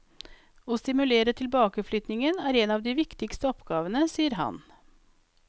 Å stimulere tilbakeflyttingen er en av de viktigste oppgavene, sier han.